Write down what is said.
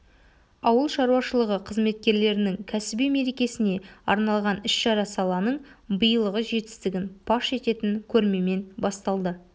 ауыл шаруашылығы қызметкерлерінің кәсіби мерекесіне арналған іс-шара саланың биылғы жетістігін паш ететін көрмемен басталды